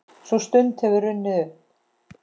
Sú stund hefur runnið upp.